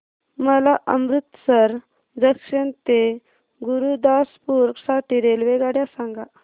मला अमृतसर जंक्शन ते गुरुदासपुर साठी रेल्वेगाड्या सांगा